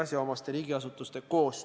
Kas on soovi esineda läbirääkimistel sõnavõtuga?